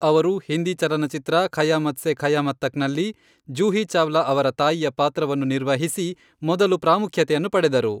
ಅವರು ಹಿಂದಿ ಚಲನಚಿತ್ರ ಖಯಾಮತ್ ಸೆ ಕಯಾಮತ್ ತಕ್ನಲ್ಲಿ, ಜೂಹಿ ಚಾವ್ಲಾ ಅವರ ತಾಯಿಯ ಪಾತ್ರವನ್ನು ನಿರ್ವಹಿಸಿ ಮೊದಲು ಪ್ರಾಮುಖ್ಯತೆಯನ್ನು ಪಡೆದರು.